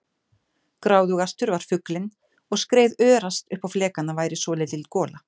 Gráðugastur var fuglinn og skreið örast upp á flekana væri svolítil gola.